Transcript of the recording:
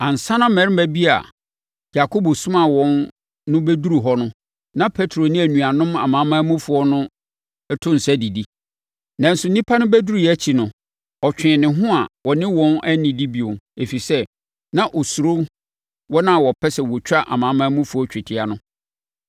Ansa na mmarima bi a Yakobo somaa wɔn no bɛduruu hɔ no, na Petro ne anuanom amanamanmufoɔ no to nsa didi. Nanso, nnipa no bɛduruiɛ akyi no, ɔtwee ne ho a ɔne wɔn annidi bio, ɛfiri sɛ, na ɔsuro wɔn a wɔpɛ sɛ wɔtwa amanamanmufoɔ twetia no.